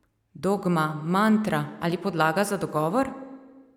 Dogma, mantra ali podlaga za dogovor?